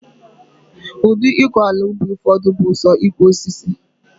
Udi iko ala ubi ufodu bu so iku osisi